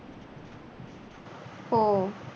हो.